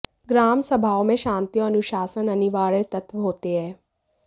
ग्राम सभाओं में शांति और अनुशासन अनिवार्य तत्त्व होते हैं